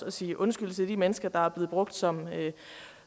at sige undskyld til de mennesker der er blevet brugt som